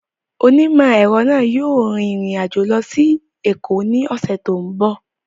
Onímọ̀-ẹ̀rọ náà yóò rin ìrìn àjò lọ sí Èkó ní ọ̀sẹ̀ tó ń bọ̀